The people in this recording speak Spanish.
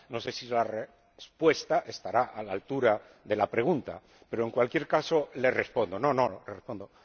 No sé si la respuesta estará a la altura de la pregunta, pero, en cualquier caso, le respondo. No, no, le respondo.